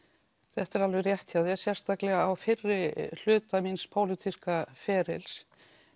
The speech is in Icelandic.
þetta er alveg rétt hjá þér sérstaklega á fyrri hluta míns pólitíska ferils